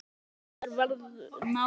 Vinátta okkar varð náin.